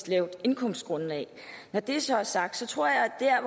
lavt indkomstgrundlag når det så er sagt tror jeg der er